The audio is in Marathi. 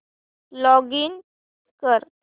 लॉगिन कर